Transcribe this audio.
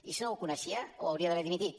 i si no ho coneixia hauria d’haver dimitit